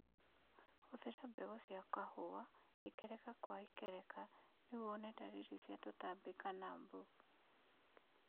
Thũrima mbegũ cia kahũa ikereka gwa ikereka nĩguo wone dalili cia tũtambi kana mbu